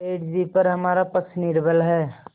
सेठ जीपर हमारा पक्ष निर्बल है